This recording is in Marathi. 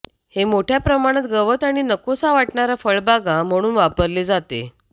हे मोठ्या प्रमाणात गवत आणि नकोसा वाटणारा फळबागा म्हणून वापरले जाते